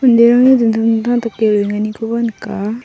dingtang dingtang dake roenganikoba nika.